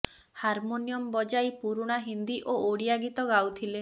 harmonium ବଜାଇ ପୁରୁଣା ହିନ୍ଦୀ ଓ ଓଡିଆ ଗୀତ ଗାଉଥିଲେ